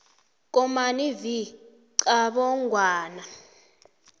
komani v qabongwana